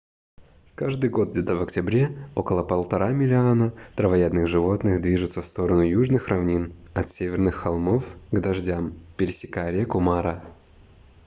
каждый год где-то в октябре около 1,5 миллиона травоядных животных движутся в сторону южных равнин от северных холмов к дождям пересекая реку мара